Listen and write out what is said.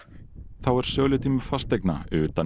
þá er sölutími fasteigna utan